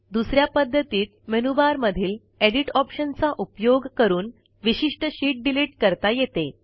दुस या पध्दतीत मेनूबारमधील एडिट ऑप्शनचा उपयोग करून विशिष्ट शीट डिलिट करता येते